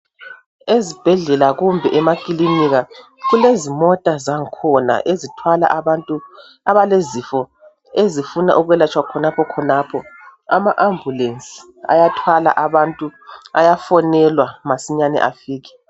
Ezibhedlela kumbe emakilinika, kulezimota zangkhona ezithwala abantu abalezifo ezifuna ukwelatshwa khonapho khonapho. Ama ambulensi ayathwala abantu, ayafonelwa masinyani afike.